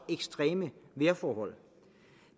ekstreme vejrforhold